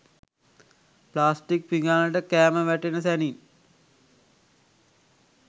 plastic පිඟානට කෑම වැටෙන සැනින්